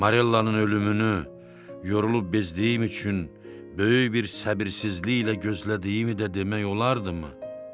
Marellanın ölümünü yorulub bezdiyim üçün böyük bir səbirsizliklə gözlədiyimi də demək olardımı?